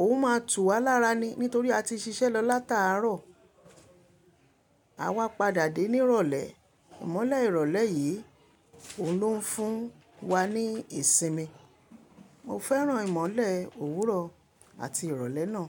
òun máa tú wá lára ni nítorí a ti ṣiṣẹ́ lọ látaárọ̀. Àwa padà dé ní ìrọ̀lẹ́, ìmọ̀le ìrọ̀lẹ́ yìí òun ló ń fún wa ní ìsinmi. Mo fẹ́ràn ìmọ̀le òwúrọ̀ àti ìrọ̀lẹ́ náà.